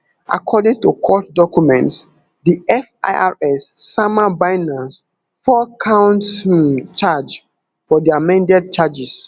according to court documents di firs sama binance four count um charge for di amended charges